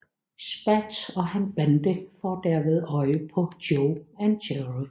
Spats og hans bande får derved øje på Joe og Jerry